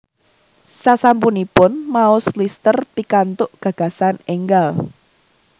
Sasampunipun maos Lister pikantuk gagasan enggal